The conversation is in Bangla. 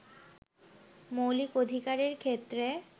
মৌলিক অধিকারের ক্ষেত্রে